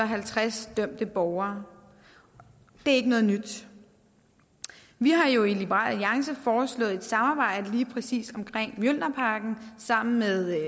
halvtreds dømte borgere det er ikke noget nyt vi har jo i liberal alliance foreslået et samarbejde om lige præcis mjølnerparken sammen med